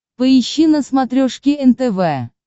поищи на смотрешке нтв